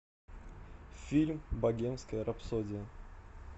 фильм богемская рапсодия